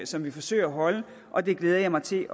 som vi forsøger at holde og det glæder jeg mig til